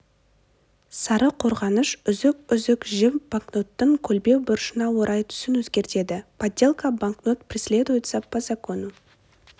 сары қорғаныш үзік-үзік жіп банкноттың көлбеу бұрышына орай түсін өзгертеді подделка банкнот преследуется по закону